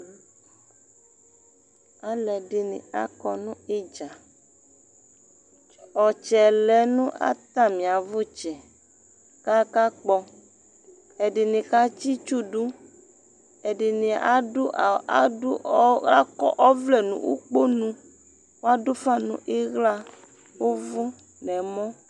Alʊɛdi akɔ ɲu idza Ɔtsɛ lɛ ɲatamiaʋtsɛ' kakakpɔ Ediɲi katsi tsudu Ɛdiɲi akɔvlɛ ɲʊ ʊkpoɲʊ Adʊfa ɲu ɩɣla, ʊvʊ ɲɛmɔ